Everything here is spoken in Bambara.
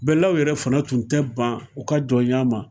Bɛlaw yɛrɛ fana tun tɛ ban u ka jɔn ɲa ma